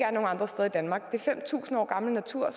andre steder i danmark det er fem tusind år gammel natur og